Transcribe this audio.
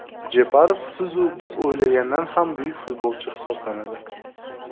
Jeparov siz-u biz o‘ylagandan ham buyuk futbolchi hisoblanadi.